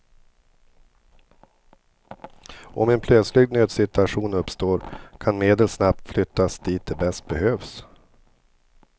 Om en plötsligt nödsituation uppstår kan medel snabbt flyttas dit de bäst behövs.